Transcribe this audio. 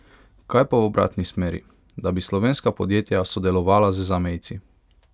Kaj pa v obratni smeri, da bi slovenska podjetja sodelovala z zamejci?